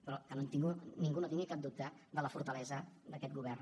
però que ningú no tingui cap dubte de la fortalesa d’aquest govern